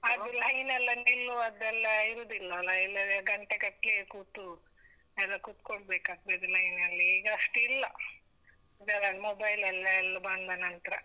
ಅದ್ line ಎಲ್ಲ ನಿಲ್ಲುವದೆಲ್ಲ ಇರುದಿಲ್ಲಲ್ಲ, ಇಲ್ಲದ್ರೆ ಗಂಟೆ ಗಟ್ಲೆ ಕೂತು, ಎಲ್ಲ ಕೂತ್ಕೊಳ್ಬೇಕಾಗ್ತದೆ line ನಲ್ಲಿ ಈಗ ಅಷ್ಟ್ ಇಲ್ಲ, ಅದೆ ನನ್ನ್ mobile ಅಲ್ಲೆ ಎಲ್ಲ ಬಂದ ನಂತ್ರ.